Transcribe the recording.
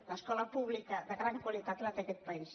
l’escola pública de gran qualitat la té aquest país